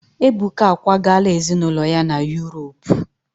Ebuka akwagala ezinụlọ ya na Yuropu.